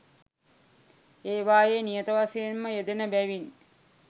ඒවායේ නියත වශයෙන් ම යෙදෙන බැවින්